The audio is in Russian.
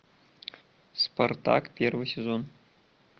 спартак первый сезон